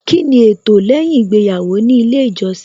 Kíni ẹtọ lẹ́yìn ìgbéyàwó nílé ìjọsìn